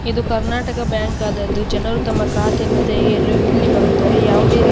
ಇದು ಕರ್ನಾಟಕ ಬ್ಯಾಂಕ್ ಆದದ್ದು ಜನರು ತಮ್ಮ ಖಾತೆಯನ್ನು ತೆರೆಯಲು ಇಲ್ಲಿ ಬರುತ್ತಾರೆ ಯಾವುದೇ ರಿ --